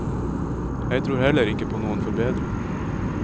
Jeg tror heller ikke på noen forbedring.